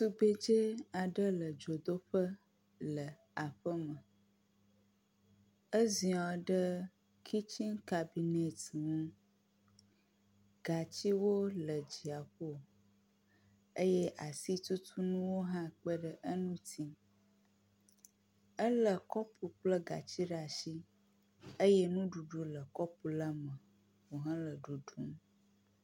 Tugbedzɛ aɖe le dzodoƒe le aƒe me. Eziɔ ɖe kitsini kabinɛti ŋu, gatsiwo le dziaƒo eye asitutunuwo hã kpeɖe eŋuti. Elé kɔpu kple gatsi ɖe ashi eye nuɖuɖu le kɔpu la me wo hele ɖuɖum.